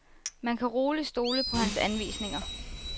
Man kan roligt stole på hans anvisninger.